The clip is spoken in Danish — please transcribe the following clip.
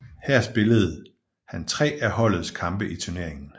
Her spillede han tre af holdets kampe i turneringen